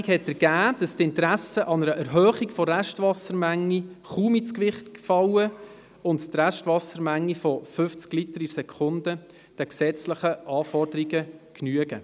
Die Interessenabwägung ergab, dass die Interessen an einer Erhöhung der Restwassermenge kaum ins Gewicht fallen und die Restwassermenge von 50 Litern pro Sekunde den gesetzlichen Anforderungen genügt.